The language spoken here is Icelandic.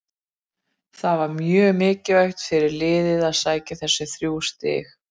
Það var mjög mikilvægt fyrir liðið að sækja þessi þrjú stig.